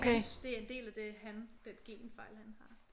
Hans det en del af det han den genfejl han har